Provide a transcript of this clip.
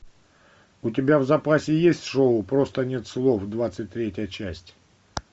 у тебя в запасе есть шоу просто нет слов двадцать третья часть